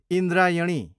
Indrayani